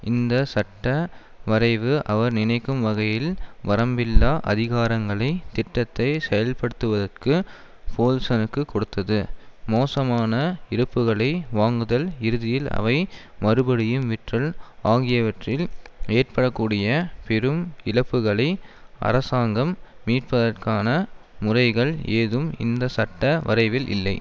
இந்த சட்ட வரைவு அவர் நினைக்கும் வகையில் வரம்பில்லா அதிகாரங்களை திட்டத்தை செயல்படுத்துவதற்கு போல்சனுக்கு கொடுத்தது மோசமான இருப்புக்களை வாங்குதல் இறுதியில் அவை மறுபடியும் விற்றல் ஆகியவற்றில் ஏற்பட கூடிய பெரும் இழப்புக்களை அரசாங்கம் மீட்பதற்கான முறைகள் ஏதும் இந்த சட்ட வரைவில் இல்லை